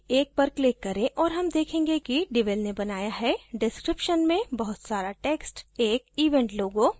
किसी भी एक पर click करें और हम देखेंगे कि devel ने बनया हैdescription में बहुत सा text एक event logo